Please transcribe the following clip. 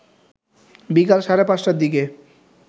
বিকাল সাড়ে ৫টার দিকে